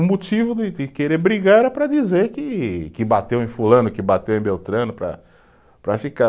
O motivo de de querer brigar era para dizer que que bateu em fulano, que bateu em Beltrano para, para ficar.